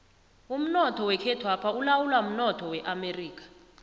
umnoth wekhethwapha ulawulwa mnotho weamerika